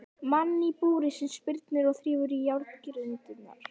Mann í búri sem spyrnir og þrífur í járngrindurnar.